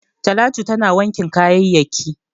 Talatu tana wankin kayayyaki.